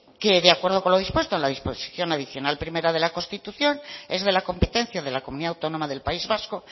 de acuerdo con lo dispuesto en la disposición adicional primera de la constitución es de la competencia de la comunidad autónoma del país vasco